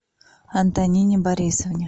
антонине борисовне